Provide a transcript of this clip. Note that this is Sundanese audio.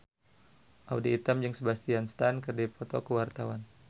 Audy Item jeung Sebastian Stan keur dipoto ku wartawan